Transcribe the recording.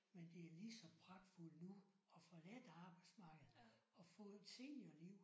Men det er lige så pragtfuldt nu og forladt arbejdsmarkedet og få et seniorliv